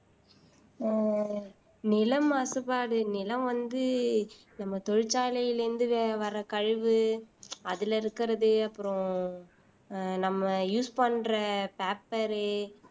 ஆஹ் நிலம் மாசுபாடு நிலம் வந்து நம்ம தொழிற்சாலையிலிருந்து வர்ற கழிவு அதுல இருக்கிறது அப்புறம் நம்ம use பண்ற paper ரு